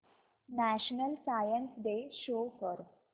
national science day show कर